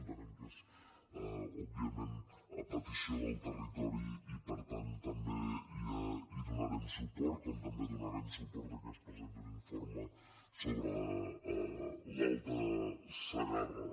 entenem que és òbviament a petició del territori i per tant també hi donarem suport com també donarem suport a que es presenti un informe sobre l’alta segarra